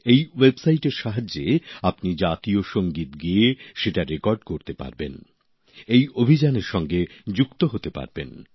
এই ওয়েবসাইটের সাহায্যে আপনি জাতীয় সঙ্গীত গেয়ে সেটা রেকর্ড করতে পারবেন এই অভিযানের সঙ্গে যুক্ত হতে পারবেন